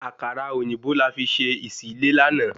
Àkàrà òyìnbó la fi ṣe ìsí lé láàná